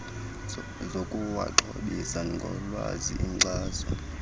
zokuwaxhobisa ngolwazi inkxaso